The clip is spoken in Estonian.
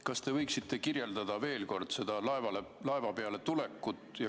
Kas te võiksite kirjeldada veel kord seda laeva peale minekut?